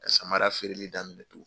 Ka samara feereli daminɛ tun.